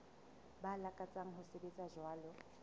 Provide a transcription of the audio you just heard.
ba lakatsang ho sebetsa jwalo